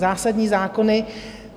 Zásadní zákony.